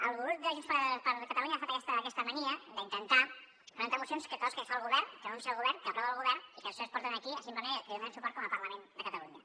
el grup de junts per catalunya ha agafat aquesta mania d’intentar presentar mocions de coses que fa el govern que anuncia el govern que aprova el govern i que després es porten aquí simplement perquè hi donem suport com a parlament de catalunya